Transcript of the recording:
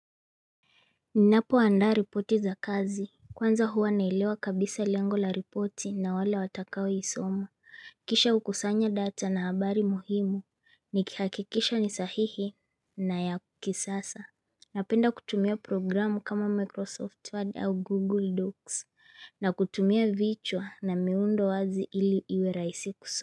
Ninapoandaa ripoti za kazi kwanza huwa naelewa kabisa lengo la ripoti na wale watakao isoma kisha hukusanya data na habari muhimu nikihakikisha ni sahihi na ya kisasa Napenda kutumia programu kama Microsoft Word au Google Docs na kutumia vichwa na miundo wazi ili iwe rahisi kusoma.